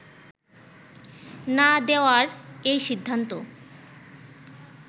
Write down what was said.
না দেওয়ার এই সিদ্ধান্ত